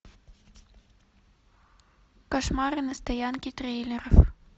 кошмары на стоянке трейлеров